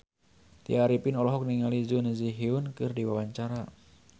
Tya Arifin olohok ningali Jun Ji Hyun keur diwawancara